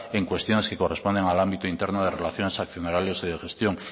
en cuestiones que corresponden al ámbito interno de relaciones accionariales de gestión